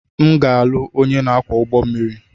M ga-alụ onye ọkwọ ụgbọ mmiri.